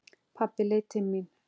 Pabbi leit til mín.